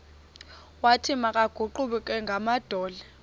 wathi makaguqe ngamadolo